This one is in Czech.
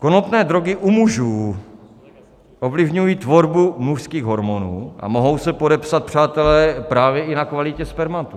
Konopné drogy u mužů ovlivňují tvorbu mužských hormonů a mohou se podepsat, přátelé, právě i na kvalitě spermatu.